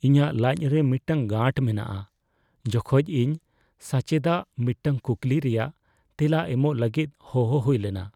ᱤᱧᱟᱹᱜ ᱞᱟᱡ ᱨᱮ ᱢᱤᱫᱴᱟᱝ ᱜᱟᱺᱴ ᱢᱮᱱᱟᱜᱼᱟ ᱡᱚᱠᱷᱚᱡ ᱤᱧ ᱥᱟᱪᱮᱫᱟᱜ ᱢᱤᱫᱴᱟᱝ ᱠᱩᱠᱞᱤ ᱨᱮᱭᱟᱜ ᱛᱮᱞᱟ ᱮᱢᱚᱜ ᱞᱟᱹᱜᱤᱫ ᱦᱚᱦᱚ ᱦᱩᱭ ᱞᱮᱱᱟ ᱾